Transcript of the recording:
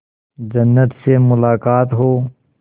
जन्नत से मुलाकात हो